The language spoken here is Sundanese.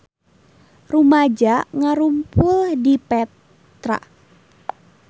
Rumaja ngarumpul di Petra